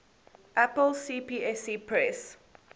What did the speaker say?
apple cpsc press